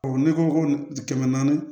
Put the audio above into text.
ne ko ko kɛmɛ naani